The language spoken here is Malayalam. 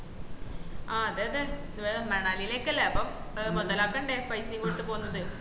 ആഹ് അതെ അതെ മണലിലേക്കല്ലേ അപ്പം മൊതലാക്കണ്ടേ പൈസയും കൊട്ത് പോവ്ന്നത്